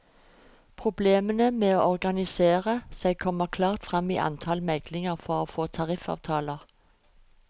Problemene med å organisere seg kommer klart frem i antallet meglinger for å få tariffavtaler.